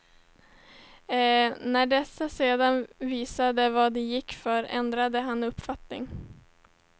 När dessa sedan visade vad de gick för ändrade han uppfattning.